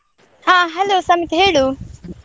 ಹ hello ಸಮಿತ್ ಹೇಳು.